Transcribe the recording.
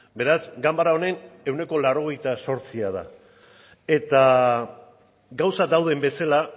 beraz ganbara honen ehuneko laurogeita zortzia da eta gauzak dauden bezala